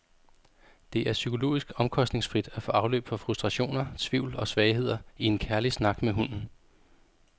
Det er psykologisk omkostningsfrit at få afløb for frustrationer, tvivl og svagheder i en kærlig snak med hunden.